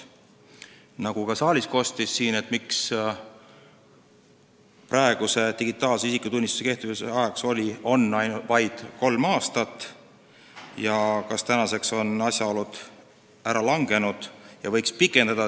Küsiti, nagu ka siit saalist kostis, miks on digitaalse isikutunnistuse kehtivuse ajaks praegu vaid kolm aastat, kas takistavad asjaolud on ära langenud ja seda aega võiks pikendada.